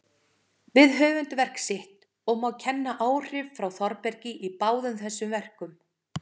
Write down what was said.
við höfundarverk sitt, og má kenna áhrif frá Þórbergi í báðum þessum verkum.